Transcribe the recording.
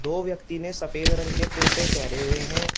दो व्यक्ति ने सफेद रंग के कुर्ते पहेरे हुए हैं।